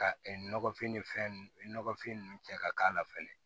Ka nɔgɔfin ni fɛn nunnu nɔgɔfin ninnu cɛ ka k'a la fɛnɛ